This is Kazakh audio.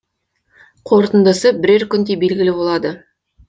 қорытындысы бірер күнде белгілі болады